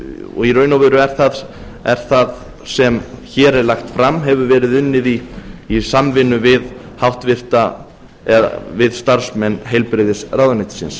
og í raun og veru hefur það sem hér er lagt fram verið unnið í samvinnu við starfsmenn heilbrigðisráðuneytisins